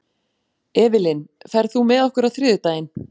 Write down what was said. Evelyn, ferð þú með okkur á þriðjudaginn?